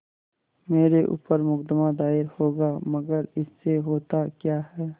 मेरे ऊपर मुकदमा दायर होगा मगर इससे होता क्या है